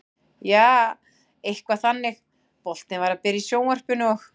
Jaa, eitthvað þannig, boltinn var að byrja í sjónvarpinu og.